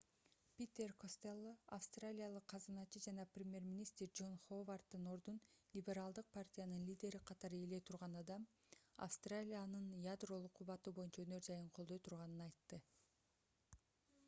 питер костелло австралиялык казыначы жана премьер-министр джон ховарддын ордун либералдык партиянын лидери катары ээлей турган адам австралиянын ядролук кубаты боюнча өнөр-жайын колдой турганын айтты